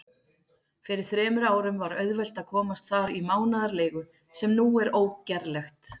Fyrir þremur árum var auðvelt að komast þar í mánaðarleigu, sem nú er ógerlegt.